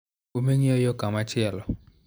Ume ng'iyo yo komachielo.